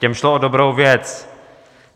Těm šlo o dobrou věc.